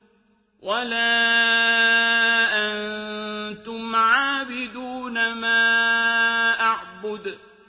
وَلَا أَنتُمْ عَابِدُونَ مَا أَعْبُدُ